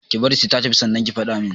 Ki bari sai ta tafi sannan ki faɗa min